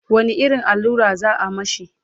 wani irin allura za'a mashi?